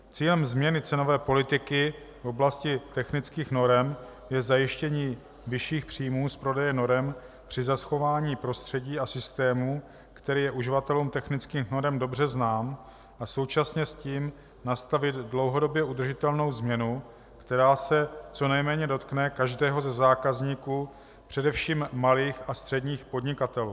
Cílem změny cenové politiky v oblasti technických norem je zajištění vyšších příjmů z prodeje norem při zachování prostředí a systému, který je uživatelům technických norem dobře znám, a současně s tím nastavit dlouhodobě udržitelnou změnu, která se co nejméně dotkne každého ze zákazníků, především malých a středních podnikatelů.